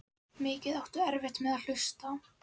Mikið áttu erfitt með að hlusta.